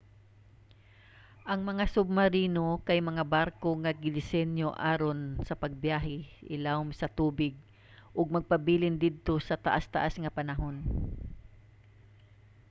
ang mga submarino kay mga barko nga gidisenyo aron sa pagbiyahe ilawom sa tubig ug magpabilin didto sa taas-taas nga panahon